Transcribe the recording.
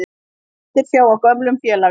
Eftirsjá að gömlum félaga